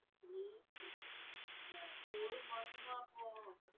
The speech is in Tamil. ஒரு மாசமா போகணும்.